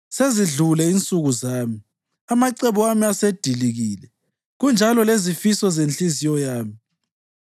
Sezidlule insuku zami, amacebo ami asedilikile, kunjalo lezifiso zenhliziyo yami.